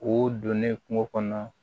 O donnen kungo kɔnɔ